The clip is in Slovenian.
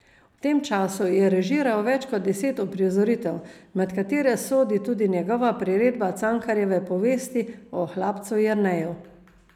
V tem času je režiral več kot deset uprizoritev, med katere sodi tudi njegova priredba Cankarjeve povesti o Hlapcu Jerneju.